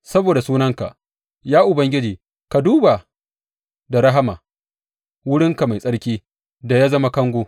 Saboda sunanka, ya Ubangiji, ka duba da rahama wurinka mai tsarki da ya zama kango.